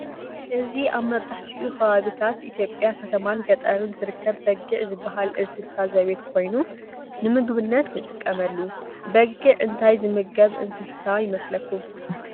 እዚ አብ መብዘሐትኡ ከባቢ ኢትዮጵያ ከተማን ገጠርን ዝርከብ በጊዕ ዝበሃል እንሰሳ ዘቤት ኮይኑ ንምግብነት ንጥቀመሉ። በጊዕ እንታይ ዝምገብ እንስሳ ይመስለኩም?